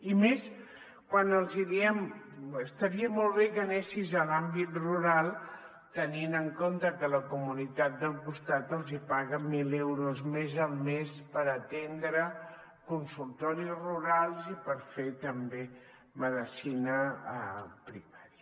i més quan els diem estaria molt bé que anessis a l’àmbit rural tenint en compte que la comunitat del costat els paga mil euros més al mes per atendre consultoris rurals i per fer també medicina primària